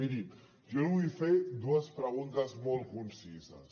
miri jo li vull fer dues preguntes molt concises